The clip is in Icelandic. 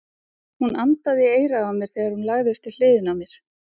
Hún andaði í eyrað á mér þegar hún lagðist við hliðina á mér.